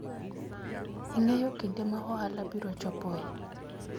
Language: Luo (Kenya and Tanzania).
ing'eyo kinde ma ohala biro chopoe